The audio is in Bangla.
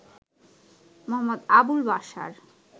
মো. আবুল বাশার